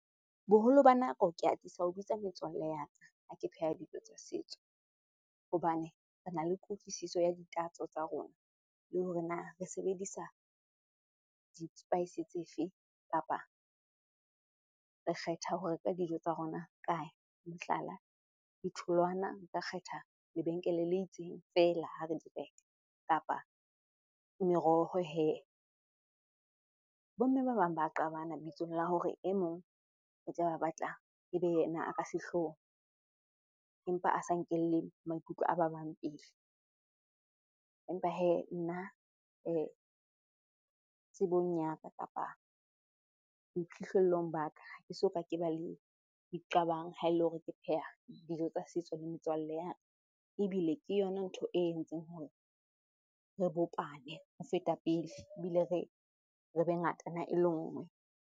Boholo ba nako ke atisa ho bitsa metswalle ya ka, ha ke pheha dijo tsa setso. Hobane re na le kutlwisiso ya ditatso tsa rona le hore na re sebedisa di-spice tse fe kapa re kgetha ho reka dijo tsa rona kae? Mohlala, ditholwana nka kgetha lebenkele le itseng feela ha re di reka kapa meroho hee. Bo mme ba bang ba qabana lebitsong la hore e mong o tla be a batla e be yena a ka sehlohong empa a sa nkelle maikutlo a ba bang pele. Empa hee nna tsebong ya ka kapa boiphihlellong ba ka, ha ke soka ke ba le diqabang ha e le hore ke pheha dijo tsa setso le metswalle ya ka. Ebile ke yona ntho e entseng hore re bopane ho feta pele ebile re be ngatana e le nngwe.